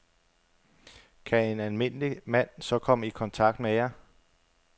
Kan en almindelig mand så komme i kontakt med jer?